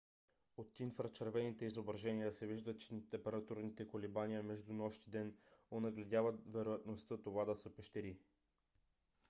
от инфрачервените изображеня се вижда че температурните колебания между нощ и ден онагледяват вероятността това да са пещери